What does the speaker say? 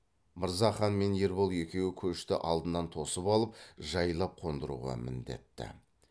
мырзахан мен ербол екеуі көшті алдынан тосып алып жайлап қондыруға міндетті